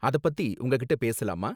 அத பத்தி உங்ககிட்ட பேசலாமா?